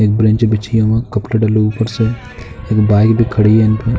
एक बेंच बिछी है वहाँ कपडे डले हैं ऊपर से। एक बाइक भी खड़ी है अंत में।